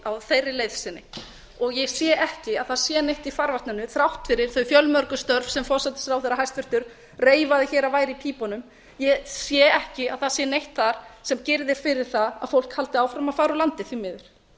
á þeirri leið sinni og ég sé ekki að það neitt í farvatninu þrátt fyrir þau fjölmörgu störf sem hæstvirtur forsætisráðherra reifaði að væru í pípunum ég sé ekki að það sé neitt þar sem girðir fyrir það að fólk haldi áfram að fara úr landi því miður